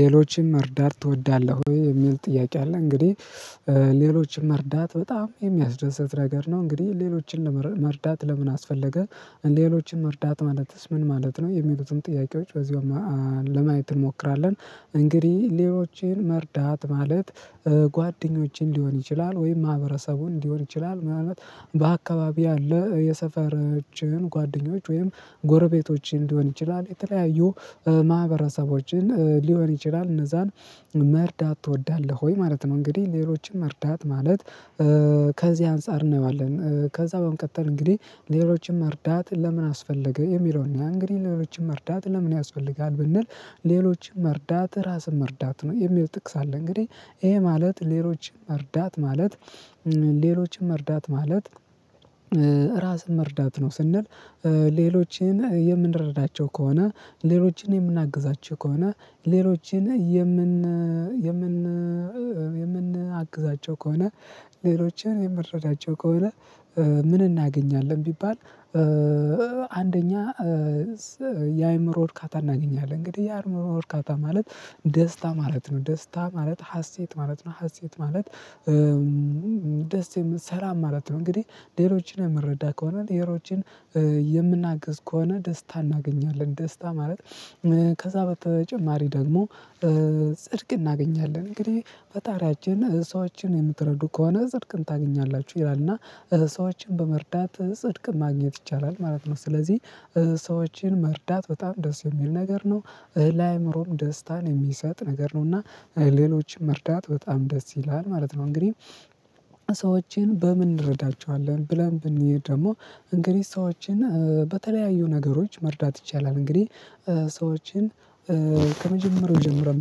ሌሎችን መርዳት ትወዳለህ ወይ የሚል ጥያቄ አለ? እንግዲህ ሌሎችን መርዳት በጣም የሚያስደስት ነገር ነው። እንግዲህ ሌሎችን መርዳት ለምን አስፈለገ? ሌሎችን መርዳት ማለትስ ምን ማለት ነው የሚሉትን ጥያቄዎች በዚሁ ለማየት እንሞክራለን። እንግዲህ ሌሎችን መርዳት ማለት ጓደኞችን ሊሆን ይችላል ወይም ማህበረሰቡን ሊሆን ይችላል። ማለት በአካባቢው ያለ የሰፈራችን ጓደኞች ወይም ጎረቤቶችን ሊሆን ይችላል የተለያዩ ማህበረሰቦችን ሊሆን ይችላል እነዛን መርዳት ትወዳለህ ወይ ማለት ነው? እንግዲህ ሌሎችን መርዳት ማለት ከዚህ አንፃር እናየዋለን። ከዛ በመቀጠል እንግዲህ ሌሎችን መርዳት ለምን አስፈለገ? የሚለውን እንግዲህ ሌሎችን መርዳት ለምን ያስፈልጋል? ብንል ሌሎች መርዳት ራስን መርዳት ነው የሚለው ጥቅስ አለ። እንግዲህ ይሄ ማለት ሌሎች መርዳት ማለት ሌሎችን መርዳት ማለት ራስን መርዳት ነው። ስንል ሌሎችን የምንረዳቸው ከሆነ ሌሎችን የምናግዛቸው ከሆነ ሌሎችን የምን የምን የምንአግዛቸው ከሆነ ሌሎችን የምንረዳቸው ከሆነ ምን እናገኛለን ቢባል? አንደኛ የአእምሮ ወርካታ እናገኛለን። እንግዲህ የአእምሮ እርካታ ማለት ደስታ ማለት ነው። ደስታ ማለት ሀሴት ማለት ነው። ሀሴት ማለት ደስ የምንሰራ ማለት ነው። እንግዲህ ሌሎችን የምንረዳ ከሆነ ሌሎችን የምናግዝ ከሆነ ደስታ እናገኛለን። ደስታ ማለት ከዛ በተጨማሪ ደግሞ ጽድቅ እናገኛለን። እንግዲህ ፈጣሪያችን ሰዎችን የምትረዱ ከሆነ ጽድቅን ታገኛላችሁ ይላል። እና ሰዎችን በመርዳት ጽድቅ ማግኘት ይቻላል ማለት ነው። ስለዚህ ሰዎችን መርዳት በጣም ደስ የሚል ነገር ነው። ለአእምሮም ደስታን የሚሰጥ ነገር ነውና። ሌሎችን መርዳታ በጣም ደስ ይላል ማለት ነው። እንግዲህ ሰዎችን በምን እንረዳቸዋለን ብለን ብንሄድ ደግሞ እንግዲህ ሰዎችን በተለያዩ ነገሮች መርዳት ይቻላል። እንግዲህ ሰዎችን ከመጀመሪያው ጀምረን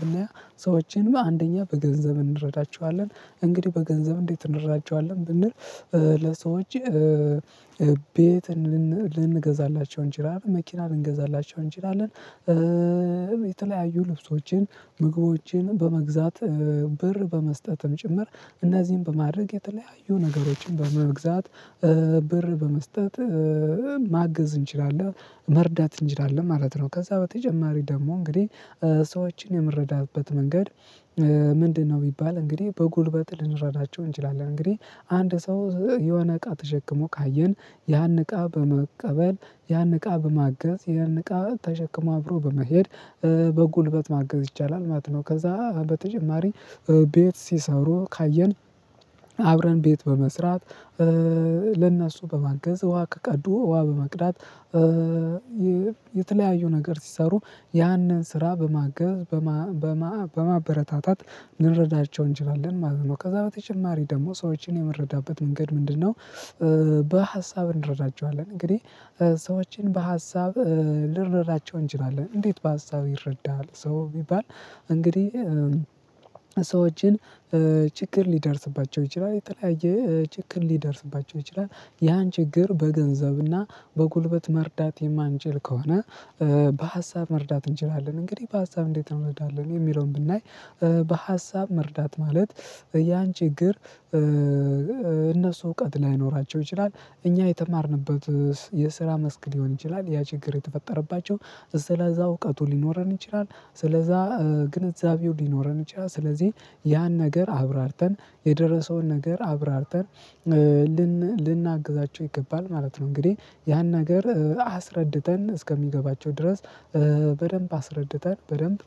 ብናየው ሰዎችንም አንደኛ በገንዘብ እንረዳቸዋለን። እንግዲህ በገንዘብ እንዴት እንረዳቸዋለን ብንል? ለሰዎች ቤት ልንገዛላቸው እንችላለን መኪና ልንገዛላቸው እንችላለን። የተለያዩ ልብሶችን ምግቦችን በመግዛት ብር በመስጠትም ጭምር እነዚህን በማድረግ የተለያዩ ነገሮችን በመግዛት ብር በመስጠት ማገዝ እንችላለን መርዳት እንችላለን ማለት ነው። ከዛ በተጨማሪ ደግሞ እንግዲህ ሰዎችን የምረዳበት መንገድ ምንድነው? ቢባል እንግዲህ በጉልበት ልንረዳቸው እንችላለን እንግዲህ አንድ ሰው የሆነ እቃ ተሸክሞ ካየን ያን እቃ በመቀበል ያን እቃ በማገዝ ያን እቃ ተሸክሞ አብሮ በመሄድ በጉልበት ማገዝ ይቻላል ማለት ነው። ከዛ በተጨማሪ ቤት ሲሰሩ ካየን አብረን ቤት በመስራት ለእነሱ በማገዝ ውሃ ከቀዱ ውሃ በመቅዳት የተለያዩ ነገር ሲሰሩ ያንን ስራ በማገዝ በማበረታታት ልንረዳቸው እንችላለን ማለት ነው ከዛ በተጨማሪ ደግሞ ሰዎችን የምንረዳበት መንገድ ምንድነው? በሀሳብ እንረዳቸዋለን። እንግዲህ ሰዎችን በሀሳብ ልንረዳቸው እንችላለን። እንዴት በሀሳብ ይረዳል ሰው ቢባል? እንግዲህ ሰዎችን ችግር ሊደርስባቸው ይችላል የተለያየ ችግር ሊደርስባቸው ይችላል ያን ችግር በገንዘብና በጉልበት መርዳት የማንችል ከሆነ በሀሳብ መርዳት እንችላለን። እንግዲህ በሀሳብ እንዴት ነው የምንረዳው የሚለውን ብናይ። በሀሳብ መርዳት ማለት ያን ችግር እነሱ እውቀት ላይኖራቸው ይችላል እኛ የተማርንበት የስራ መስክ ሊሆን ይችላል ያ ችግር የተፈጠረባቸው ስለዛ እውቀቱ ሊኖረን ይችላል ስለዛ ግንዛቤው ሊኖረን ይችላል ስለዚህ ያን ነገር አብራርተን የደረሰውን ነገር አብራርተን ልን ልናግዛቸው ይገባል ማለት ነው። እንግዲህ ያን ነገር አስረድተን እስከሚገባቸው ድረስ በደንብ አስረድተን በደንብ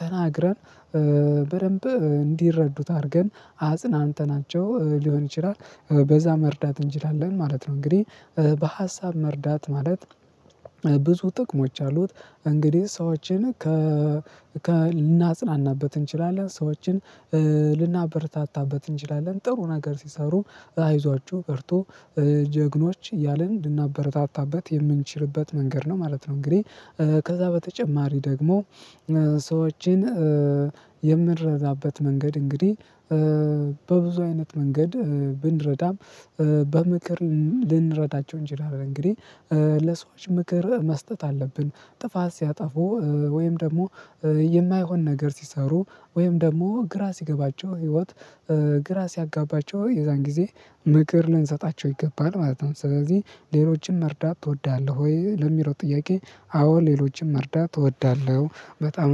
ተናግረን በደንብ እንዲረዱት አድርገን አጽናንተናቸው ሊሆን ይችላል በዛ መርዳት እንችላለን ማለት ነው። እንግዲህ በሀሳብ መርዳት ማለት ብዙ ጥቅሞች አሉት። እንግዲህ ሰዎችን ከ ልናጽናናበት እንችላለን ሰዎችን ልናበረታታበት እንችላለን። ጥሩ ነገር ሲሰሩ አይዟችሁ በርቱ ጀግኖች እያልን ልናበረታታበት የምንችልበት መንገድ ነው ማለት ነው። እንግዲህ ከዛ በተጨማሪ ደግሞ ሰዎችን የምንረዳበት መንገድ እንግዲህ በብዙ አይነት መንገድ ብንረዳም በምክር ልንረዳቸው እንችላለን። እንግዲህ ለሰዎች ምክር መስጠት አለብን። ጥፋት ሲያጠፉ ወይም ደግሞ የማይሆን ነገር ሲሰሩ ወይም ደግሞ ግራ ሲገባቸው ህይወት ግራ ሲያጋባቸው የዛን ጊዜ ምክር ልንሰጣቸው ይገባል ማለት ነው። ስለዚህ ሌሎችን መርዳት ትወዳለህ ወይ ለሚለው ጥያቄ? አዎ ሌሎችን መርዳት እወዳለሁ። በጣም